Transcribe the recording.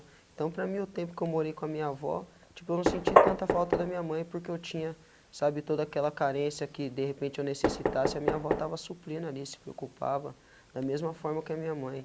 Então, para mim, o tempo que eu morei com a minha avó, tipo, eu não senti tanta falta da minha mãe, porque eu tinha, sabe, toda aquela carência que de repente eu necessitasse, a minha avó tava suprindo ali, se preocupava, da mesma forma que a minha mãe.